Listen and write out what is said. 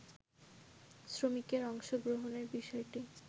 শ্রমিকের অংশগ্রহণের বিষয়টি